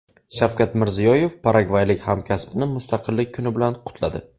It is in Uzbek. Shavkat Mirziyoyev paragvaylik hamkasbini mustaqillik kuni bilan qutladi.